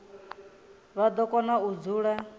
vha do kona u dzula